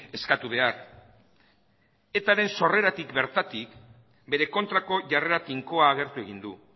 eskatu behar etaren sorreratik bertatik bere kontrako jarrera tinkoa agertu egin du